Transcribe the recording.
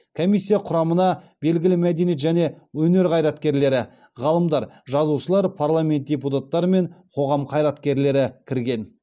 комиссия құрамына белгілі мәдениет және өнер қайраткерлері ғалымдар жазушылар парламент депутаттары мен қоғам қайраткерлері кірген